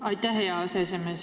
Aitäh, hea aseesimees!